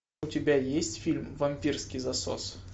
у тебя есть фильм вампирский засос